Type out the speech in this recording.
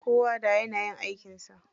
Kowa da yanayin aikin sa.